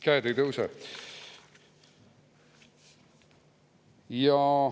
Käed ei tõuse.